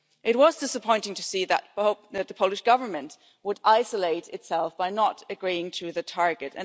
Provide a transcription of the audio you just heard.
It was disappointing to see that the Polish Government would isolate itself by not agreeing to the target.